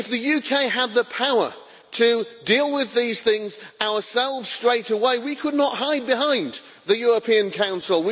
If the UK had the power to deal with these things ourselves straight away, we could not hide behind the European Council.